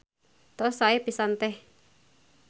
Tos sae pisan Teh.